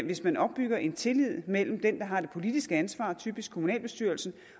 hvis man opbygger en tillid mellem den der har det politiske ansvar typisk kommunalbestyrelsen